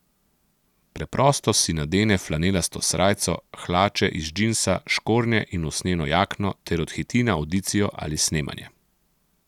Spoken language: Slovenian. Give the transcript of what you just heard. Preprosto si nadene flanelasto srajco, hlače iz džinsa, škornje in usnjeno jakno ter odhiti na avdicijo ali snemanje.